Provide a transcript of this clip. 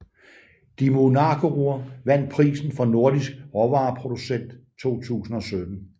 Dímunargarður vandt prisen for Nordisk råvareproducent 2017